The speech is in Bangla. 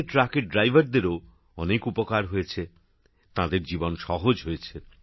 ট্রাকের ড্রাইভারদেরও অনেক উপকার হয়েছে তাঁদের জীবন সহজ হয়েছে